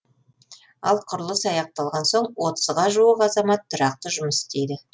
ал құрылыс аяқталған соң отызға жуық азамат тұрақты жұмыс істейді